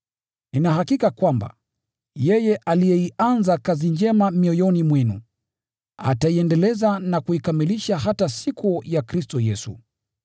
Nina hakika kwamba yeye aliyeianza kazi njema mioyoni mwenu, ataiendeleza na kuikamilisha hata siku ya Kristo Yesu.